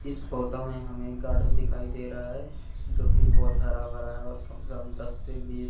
इस फोटो में हमें एक गार्डन दिखाई दे रहा है जोकि बहोत हरा भरा है और कम दस से बीस--